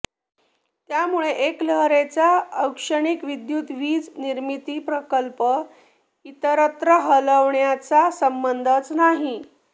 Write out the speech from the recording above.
त्यामुळे एकलहरेचा औष्णिक विद्युत वीज निर्मिती प्रकल्प इतरत्र हलवण्याचा संबंधच नाही